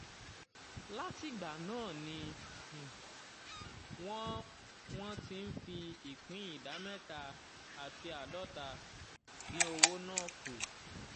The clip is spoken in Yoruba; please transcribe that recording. látìgbà náà ni wọ́n wọ́n ti ń fi ìpín ìdá mẹ́ta àti àádọ́ta dín owó náà kù.